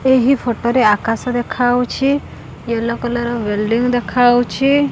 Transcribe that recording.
ଏହି ଫୋଟୋ ରେ ଆକାଶ ଦେଖା ଯାଉଛି ହେଲୋ କଲର୍ ବୁଇଲଡିଙ୍ଗ ଦେଖା ଯାଉଅଛି।